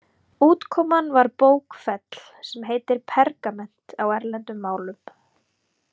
Útkoman var bókfell, sem heitir pergament á erlendum málum.